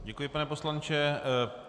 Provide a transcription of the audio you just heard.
Děkuji, pane poslanče.